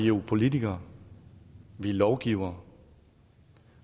jo politikere vi er lovgivere